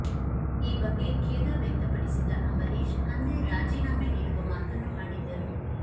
ಈ ಬಗ್ಗೆ ಖೇದ ವ್ಯಕ್ತಪಡಿಸಿದ್ದ ಅಂಬರೀಷ್ ಅಂದೇ ರಾಜೀನಾಮೆ ನೀಡುವ ಮಾತನ್ನು ಆಡಿದ್ದರು